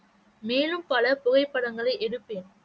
மேலும் பல புகைப்படங்களை எடுப்பேன்